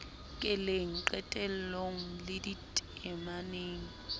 keleng qetelong le dite maneng